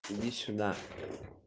иди сюда